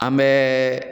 An bɛ